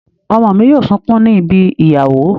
Ọmọ mi yóò sunkún ní ibi ìyàwó.